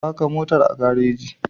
Faka motar a gareji.